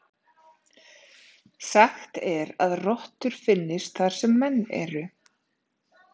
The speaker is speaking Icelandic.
Sagt er að rottur finnist þar sem menn eru.